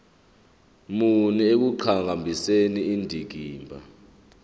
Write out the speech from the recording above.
muni ekuqhakambiseni indikimba